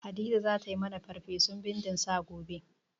Hadiza za ta yi mani farfesun bindin sa gobe.